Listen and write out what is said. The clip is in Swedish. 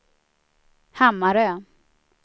Hammarö